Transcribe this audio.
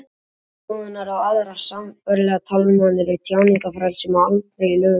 ritskoðun og aðrar sambærilegar tálmanir á tjáningarfrelsi má aldrei í lög leiða